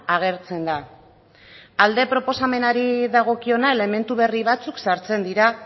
agertzen da alde proposamenari dagokiona elementu berri batzuk sartzen dira